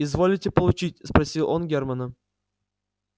изволите получить спросил он германа